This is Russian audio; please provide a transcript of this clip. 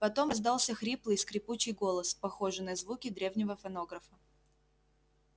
потом раздался хриплый скрипучий голос похожий на звуки древнего фонографа